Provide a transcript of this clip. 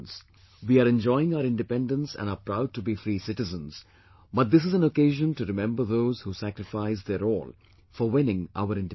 We are enjoying our independence and are proud to be free citizens, but this is an occasion to remember those who sacrificed their all for winning our independence